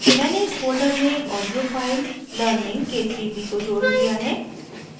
मैंने इस folder में एक audio file learningk3b को जोड़ लिया है